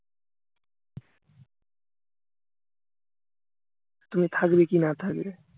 তুমি থাকবে কি না থাকবে